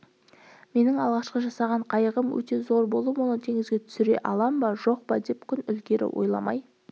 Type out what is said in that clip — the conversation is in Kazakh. менің алғашқы жасаған қайығым өте зор болып оны теңізге түсіре алам ба жоқ па деп күн ілгері ойламай